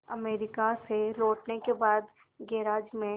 America से लौटने के बाद गैराज में